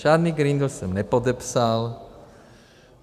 Žádný Green Deal jsem nepodepsal.